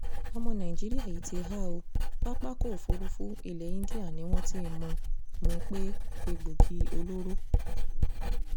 ọmọ nàìjíríà yìí ti há ó pápákọ̀-òfurufú ilẹ̀ indian ni wọ́n ti mú mú un pẹ̀lú egbòogi olóró